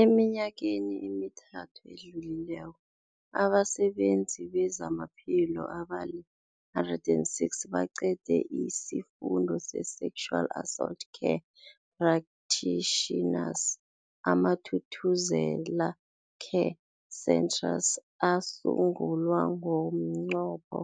Eminyakeni emithathu edluleko, abasebenzi bezamaphilo abali-106 baqede isiFundo se-Sexual Assault Care Practitioners. AmaThuthuzela Care Centres asungulwa ngomnqopho